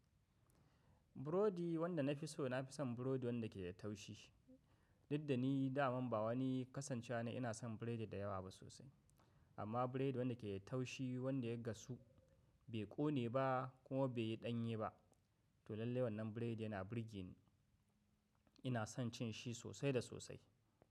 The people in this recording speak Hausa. Burodi wanda na fi so, na fi son burodi wanda ke da taushi. Diddani da man ba wani kasancewa na ina son biredi da yawa ba sosai. Amma biredi wanda ke da taushi, wanda ya gasu bai ƙone ba kuma bai yi ɗanye ba, to lallai wannan biredi yana burge ni. Ina son cin shi sosai da sosai.